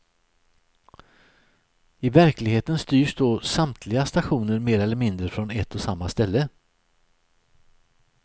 I verkligheten styrs då samtliga stationer mer eller mindre från ett och samma ställe.